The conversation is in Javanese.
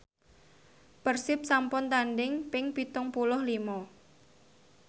Persib sampun tandhing ping pitung puluh lima